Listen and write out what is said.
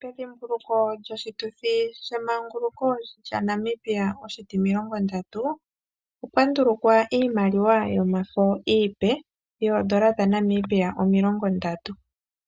Pedhimbuluko lyoshituthi shemanguluko lyaNamibia oshitimilongo ndatu , okwa ndulukwa iimaliwa yomafo iipe yoondola dhaNamibia omilongo ndatu .